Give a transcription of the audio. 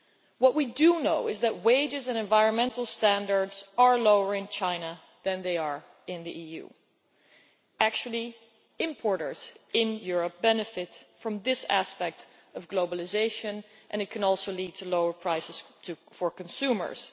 What we do know is that wages and environmental standards are lower in China than they are in the EU. In fact, importers in Europe benefit from this aspect of globalisation, and it can also lead to lower prices for consumers.